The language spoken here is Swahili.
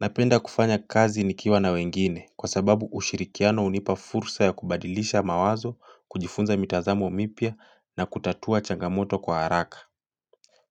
Napenda kufanya kazi nikiwa na wengine kwa sababu ushirikiano hunipa fursa ya kubadilisha mawazo, kujifunza mitazamo mipya na kutatua changamoto kwa haraka.